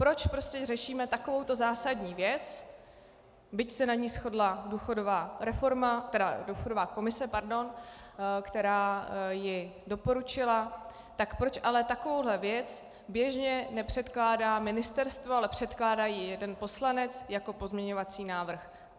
Proč prostě řešíme takovouto zásadní věc, byť se na ní shodla důchodová komise, která ji doporučila, tak proč ale takovouhle věc běžně nepředkládá ministerstvo, ale předkládá ji jeden poslanec jako pozměňovací návrh?